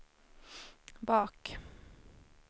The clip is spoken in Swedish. bak